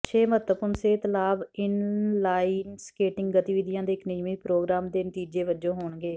ਛੇ ਮਹੱਤਵਪੂਰਣ ਸਿਹਤ ਲਾਭ ਇਨਲਾਈਨ ਸਕੇਟਿੰਗ ਗਤੀਵਿਧੀਆਂ ਦੇ ਇੱਕ ਨਿਯਮਤ ਪ੍ਰੋਗਰਾਮ ਦੇ ਨਤੀਜੇ ਵਜੋਂ ਹੋਣਗੇ